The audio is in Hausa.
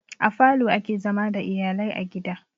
A falo ake zama da iyalai a gida.